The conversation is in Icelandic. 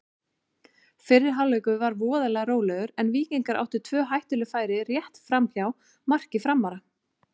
Fyrri hálfleikur var voðalega rólegur en Víkingar áttu tvö hættuleg færi rétt framhjá marki Framara.